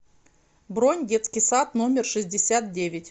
бронь детский сад номер шестьдесят девять